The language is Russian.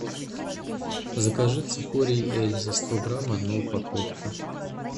закажи цикорий эльза сто грамм одну упаковку